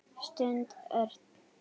stundi Örn.